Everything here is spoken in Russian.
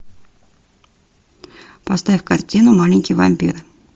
поставь картину маленький вампир